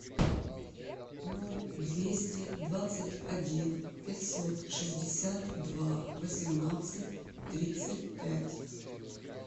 ноль двести двадцать один пятьсот шестьдесят два восемнадцать тридцать пять